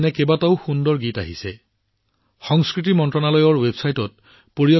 সংস্কৃতি মন্ত্ৰালয়ৰ ৱেবছাইট পৰিদৰ্শন কৰি পৰিয়ালৰ সৈতে সেইবোৰ চাব আৰু শুনিব আপোনালোক যথেষ্ট অনুপ্ৰাণিত হব